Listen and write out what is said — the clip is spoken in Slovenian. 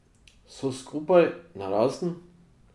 So skupaj, narazen?